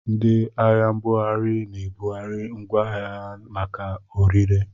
Ndị ahịa mbughari na-ebugharị ngwaahịa ha maka orire.